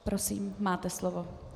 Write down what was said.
Prosím, máte slovo.